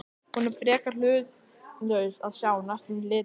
Hún er frekar hlutlaus að sjá, næstum litlaus.